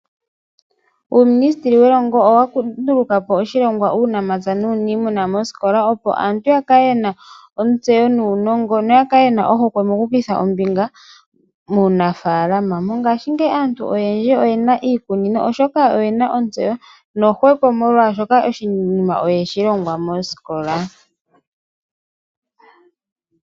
Uuministeli welongo owa nduluka po oshilongwa shuunamapya nuunimuna mosikola, opo aantu ya kale yena ontseyo nuunongo noya kale yena ohokwe moku kutha ombinga muunafaalama. Mongaashingeyi aantu oyendji oyena iikunino, oshoka oyena ontseyo nohokwe, molwaashoka oshinima oyeshi longwa mosikola.